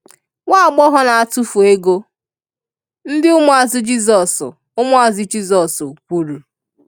“Nwáàgbọ̀họ̀ na-átúfù ego,” ndị ụmụazụ Jisọs ụmụazụ Jisọs kwùrù.